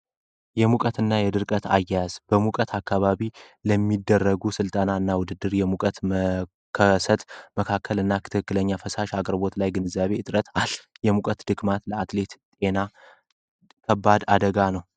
የሙቀት እና የድርቀት አያያዝ በሙቀት አካባቢ ለሚደረጉ ስልጠና እና ውድድር የሙቀት መከሰት መካከል እና ትክክለኛ የፈሳሽ አቅርቦት ላይ ግንዛቤ እጥረት አለ። የሙቀት ድክመት ለአትሌት ጤና ከባድ አደጋ ነው።